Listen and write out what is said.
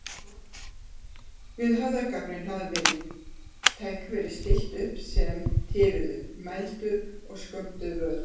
Við höfðagaflinn hafði tækjum verið stillt upp sem tifuðu, mældu og skömmtuðu vökva.